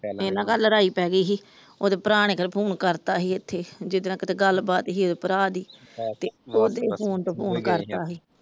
ਇਹਨਾਂ ਘਰ ਲੜਾਈ ਪੈ ਗਈ ਸੀ ਉਹਦੇ ਭਰਾ ਨੇ ਫੋਨ ਕਰਤਾ ਸੀ ਇਥੇ ਜਿੱਦਣ ਕੀਤੇ ਗੱਲਬਾਤ ਸੀ ਇਹਦੇ ਭਰਾ ਦੀ